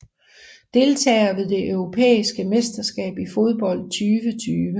Deltagere ved det europæiske mesterskab i fodbold 2020